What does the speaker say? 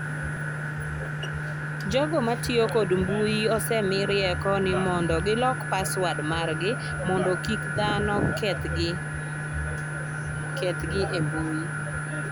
Jogo matiyo kod mbui osemi rieko ni mondo gilok paswod margi mondo kik dhano kethgi e mbui.